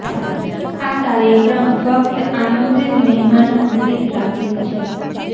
આ કાર્યક્રમ ફક્ત આમંત્રીત મહેમાનો માટે જ રાખેલ છે